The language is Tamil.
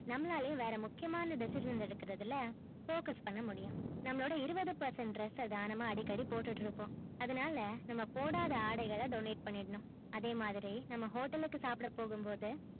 நம்மளாளையும் வேற முக்கியமான decision எடுக்குறதுல focus பண்ண முடியும் நம்மளோட இருபது percent dress ஆ தான் போட்டுக்கிட்டு இருப்போம் அதுனால போடாத ஆடைகள donate பண்ணிடனும் அதே மாதிரி நம்ம hotel ளுக்கு சாப்பிட போகும் போது